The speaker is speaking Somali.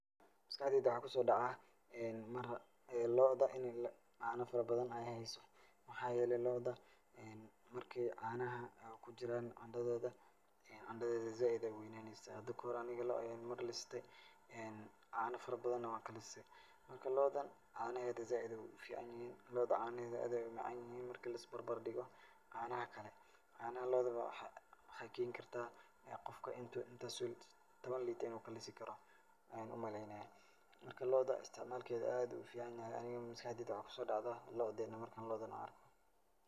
Maskaxdeyda waxaa ku soo dhacaa mar lo'oda in ay caano farabadan ay haayso. Maxaa yeelay lo'oda markii caanaha kujiraan andhadoodi andhadeeda zaaid ayaay u weynaaneysaa. Hada kahor aniga lo mar listay caano farabadana waan ka listay. Marka, lo'odan caanaheeda zaaid ayaay u ficaanyihiin. lo'oda caanaheed zaaid ayaay u macaanyihiin marka laisbarbardhigo canaha kale. Caanaha lo'oda waxaay waxaay keeni kartaa qofka inta intaas oo tobon litre in uu kalisi karo ayaan u maleeynayaa. Marka lo'oda istacmaalkeeda aad ayuu u ficaanyahay aniga maskaxdayda waxaay ku soo dhacdaa lo'oda marka aan lo'odan aan arko.